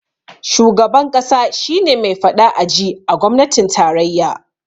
Shugaban ƙasa shi ne me faɗa a ji a gwamnatin tarayya